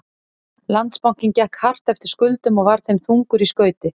Landsbankinn gekk hart eftir skuldum og var þeim þungur í skauti.